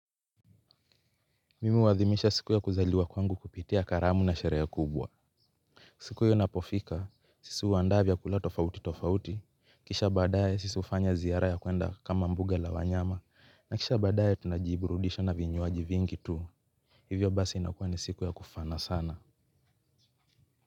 Mim huadhimisha siku ya kuzaliwa kwangu kupitia karamu na sherehe kubwa. Siku iyo inapofika, sisi huandaa vyakula tofauti tofauti. Kisha badae sisi hufanya ziara ya kuenda kama mbuga la wanyama. Na kisha badae tunajiburudisha na vinywaji vingi tu. Hivyo basi inakuwa ni siku ya kufana sana.